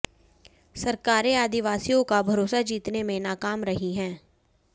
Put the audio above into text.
सरकारें आदिवासियों का भरोसा जीतने में नाकाम रही हैं